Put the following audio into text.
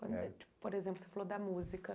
Por exemplo, você falou da música.